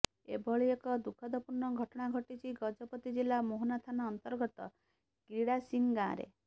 ଏଭଳି ଏକ ଦୁଃଖଦପୂର୍ଣ୍ଣ ଘଟଣା ଘଟିଛି ଗଜପତି ଜିଲ୍ଲା ମୋହନା ଥାନା ଅନ୍ତର୍ଗତ କ୍ରିଡ଼ାସିଂ ଗାଁରେ